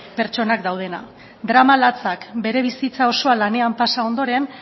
pertsonak daudela drama latzak bere bizitza osoan lanean pasa ondoren